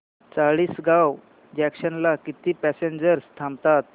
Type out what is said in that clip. Chalisgaon junction ला किती passengers थांबतात